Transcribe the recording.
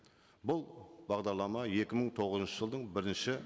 бұл бағдарлама екі мың тоғызыншы жылдың бірінші